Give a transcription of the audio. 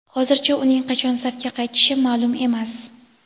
Hozircha uning qachon safga qaytishi ma’lum emas.